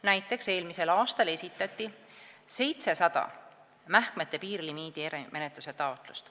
Näiteks esitati eelmisel aastal 700 mähkmete piirlimiidi erimenetluse taotlust.